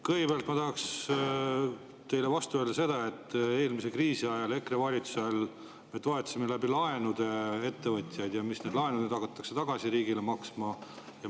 Kõigepealt ma tahaksin teile vastu öelda seda, et eelmise kriisi ajal EKRE valitsuse all me toetasime läbi laenude ettevõtjaid ja nüüd hakatakse laene riigile tagasi maksma.